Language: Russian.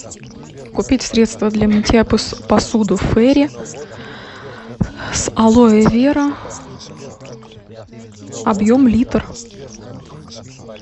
купить средство для мытья посуды фейри с алоэ вера объем литр